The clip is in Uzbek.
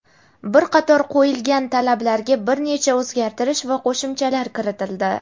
bir qator qo‘yilgan talabalarga bir necha o‘zgartirish va qo‘shimchalar kiritildi.